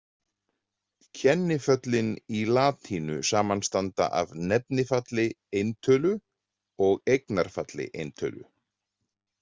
Kenniföllin í latínu samanstanda af nefnifalli eintölu og eignarfalli eintölu.